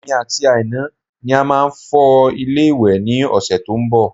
Èmi àti Aina ni a máa fọ ilé ìwẹ̀ ní ọ̀sẹ̀ tó ń bọ̀